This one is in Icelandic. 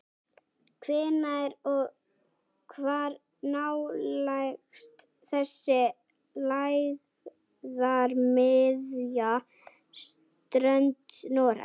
Hvenær og hvar nálgast þessi lægðarmiðja strönd Noregs?